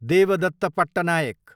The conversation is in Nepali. देवदत्त पट्टनायक